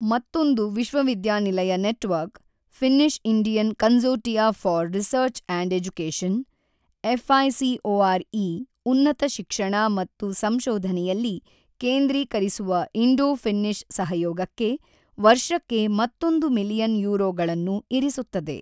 ಮತ್ತೊಂದು ವಿಶ್ವವಿದ್ಯಾನಿಲಯ network, Finnish Indian consortia for research and education, F I C O R E ಉನ್ನತ ಶಿಕ್ಷಣ ಮತ್ತು ಸಂಶೋಧನೆಯಲ್ಲಿ ಕೇಂದ್ರೀಕರಿಸುವ ಇಂಡೋ ಫಿನ್ನಿಷ್ ಸಹಯೋಗಕ್ಕೆ ವರ್ಷಕ್ಕೆ ಮತ್ತೊಂದು ಮಿಲಿಯನ್ ಯೂರೋಗಳನ್ನು ಇರಿಸುತ್ತದೆ.